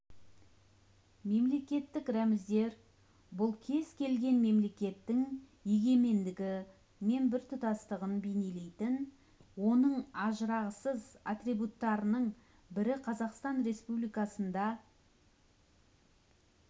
мемлекеттік рәміздер бұл кез келген мемлекеттің егемендігі мен біртұтастығын бейнелейтін оның ажырағысыз атрибуттарының бірі қазақстан республикасында